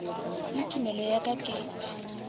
le tumelo ya ka ke